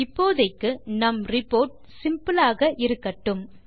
இப்போதைக்கு நம் report simple ஆக இருக்கட்டும்